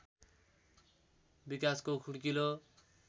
विकासको खुड्किलो